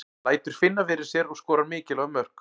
Lætur finna fyrir sér og skorar mikilvæg mörk.